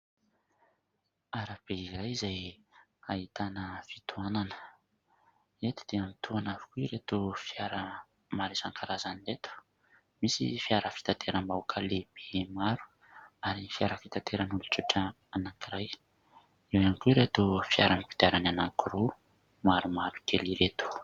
Arabe iray izay ahitana fitohanana. Eto dia mitohana avokoa ireto fiara maro isankarazany ireto : misy fiara fitateram-bahoka lehibe maro, ary ny fiara fitateran' olon-tsotra anankiray, eo ihany koa ireto fiara mikidiarany anankiroa maromaro kely ireto.